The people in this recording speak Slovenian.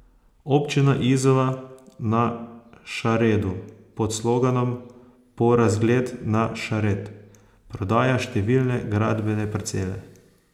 Občina Izola na Šaredu pod sloganom Po razgled na Šared prodaja številne gradbene parcele.